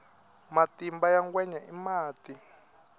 matimba ya ngwenya i mati